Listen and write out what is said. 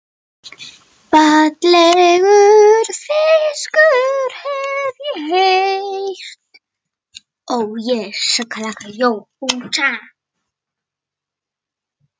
Fallegur fiskur, hef ég heyrt